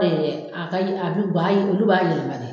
Ɛɛɛ a ka ye a bi ba ye olu b'a yɛlɛma dɛ